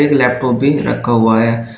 एक लैपटॉप भी रखा हुआ है।